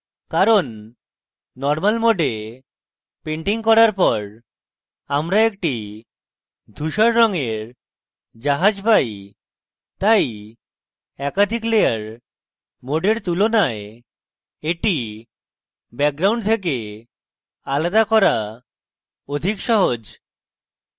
কারণ normal mode painting করার পর আমরা একটি ধুসর রঙের জাহাজ পাই তাই একাধিক layer mode তুলনায় এটি background থেকে আলাদা করা অধিক সহজ